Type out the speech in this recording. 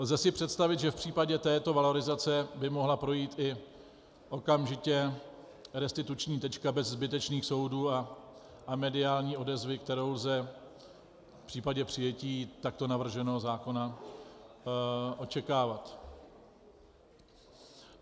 Lze si představit, že v případě této valorizace by mohla projít i okamžitě restituční tečka bez zbytečných soudů a mediální odezvy, kterou lze v případě přijetí takto navrženého zákona očekávat.